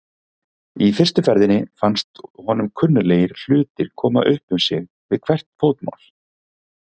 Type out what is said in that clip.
Í fyrstu ferðinni fannst honum kunnuglegir hlutir koma upp um sig við hvert fótmál.